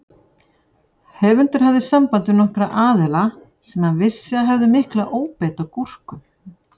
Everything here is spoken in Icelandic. Höfundur hafði samband við nokkra aðila sem hann vissi að hefðu mikla óbeit á gúrkum.